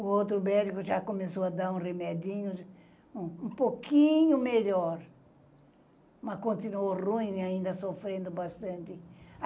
O outro médico já começou a dar um remédio um pouquinho melhor, mas continuou ruim e ainda sofrendo bastante.